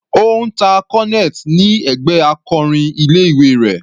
Ó ń ta cornet ni ẹgbẹ́ akọrin ilé ìwé rẹ̀.